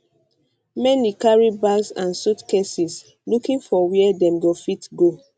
many carry bags and suitcases looking for wia dem go fit um go